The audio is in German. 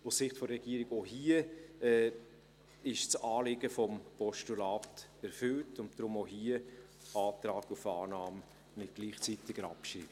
Aus Sicht der Regierung ist auch hier das Anliegen des Postulats erfüllt und deshalb auch hier Antrag auf Annahme mit gleichzeitiger Abschreibung.